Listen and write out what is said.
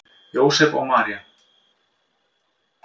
Jósep og María